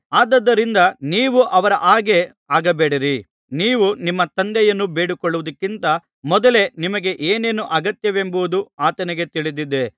ಆದುದರಿಂದ ನೀವು ಅವರ ಹಾಗೆ ಆಗಬೇಡಿರಿ ನೀವು ನಿಮ್ಮ ತಂದೆಯನ್ನು ಬೇಡಿಕೊಳ್ಳುವುದಕ್ಕಿಂತ ಮೊದಲೇ ನಿಮಗೆ ಏನೇನು ಅಗತ್ಯವೆಂಬುದು ಆತನಿಗೆ ತಿಳಿದಿದೆ